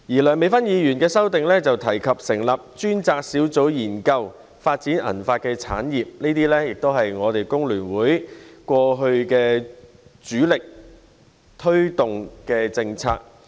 梁美芬議員的修正案提及成立專責小組研究發展銀髮產業，這也是工聯會過去主力推動的政策。